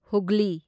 ꯍꯨꯒ꯭ꯂꯤ